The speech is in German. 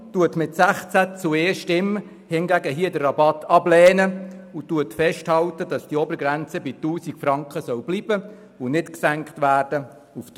Die Kommission lehnt den Rabatt mit 16 zu 1 Stimmen ab und hält fest, dass diese Obergrenze bei 1000 Franken bleiben und nicht auf 300 Franken gesenkt werden soll.